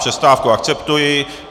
Přestávku akceptuji.